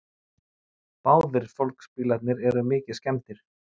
Báðir fólksbílarnir eru mikið skemmdir